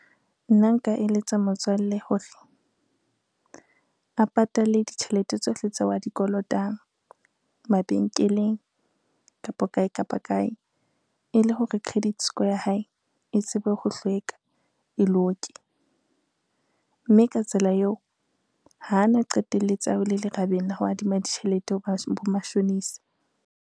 Nna nka eletsa motswalle hore, a patale ditjhelete tsohle tseo a di kolotang mabenkeleng kapo kae kapa kae, e le hore credit score ya hae e tsebe ho hlweka, e loke, mme ka tsela eo hana qetelletse a wele lerabeng la ho adima ditjhelete ho bo mashonisa.